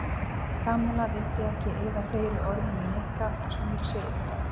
Kamilla vildi ekki eyða fleiri orðum í Nikka og snéri sér undan.